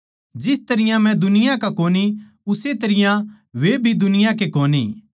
जिस तरियां मै दुनिया का कोनी उस्से तरियां वे भी दुनिया के कोनी